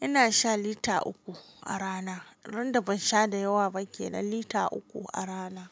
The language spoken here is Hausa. ina shan lita uku a rana. Randa ban sha da yawa ba kenan lita uku a rana.